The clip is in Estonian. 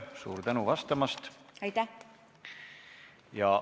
Suur tänu vastamast!